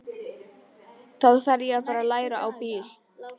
Þá þarf ég að fara að læra á bíl.